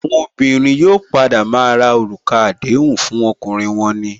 Àwọn obìnrin yóò padà maa ra orúkọ àdéhùn fún ọkùnrin wọn ni